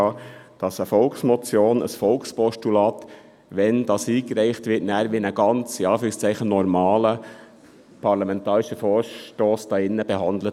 Eine Volksmotion und ein Volkspostulat würden hier drin wie ein «normaler» parlamentarischer Vorstoss behandelt.